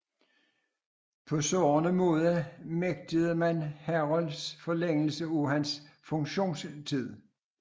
På sårende måde nægtede man Herholdt forlængelse af hans funktionstid